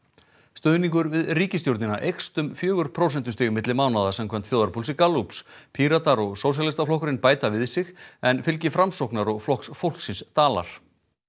stuðningur við ríkisstjórnina eykst um fjögur prósentustig milli mánaða samkvæmt þjóðarpúlsi Gallups Píratar og Sósíalistaflokkurinn bæta við sig en fylgi Framsóknar og Flokks fólksins dalar